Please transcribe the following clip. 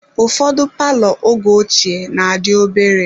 Ụfọdụ palọ oge ochie na-adị obere.